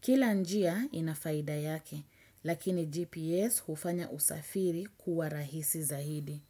Kila njia inafaida yake, lakini GPS hufanya usafiri kuwa rahisi zaidi.